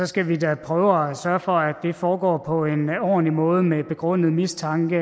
skal vi da prøve at sørge for at det foregår på en ordentlig måde med en begrundet mistanke